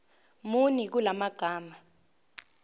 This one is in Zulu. muni kula magama